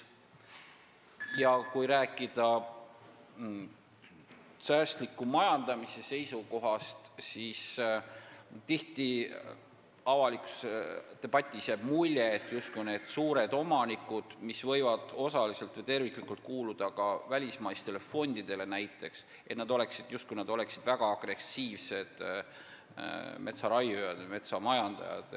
Ja kui rääkida säästliku majandamise seisukohast, siis tihti jääb avalikus debatis mulje, justkui oleksid suured omanikud, kes võivad osaliselt või terviklikult kuuluda ka näiteks välismaistele fondidele, väga agressiivsed metsaraiujad või metsamajandajad.